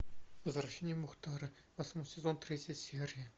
возвращение мухтара восьмой сезон третья серия